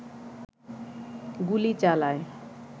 গুলি চালায়